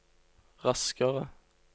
raskere